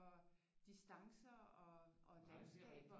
Distancer og landskaber og